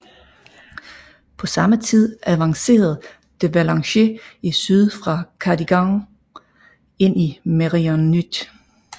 På samme tid avancerede de Valence i syd fra Cardigan ind i Meirionnydd